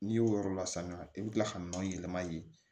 N'i y'o yɔrɔ la sanuya i bi kila ka nɔnɔ yɛlɛma yen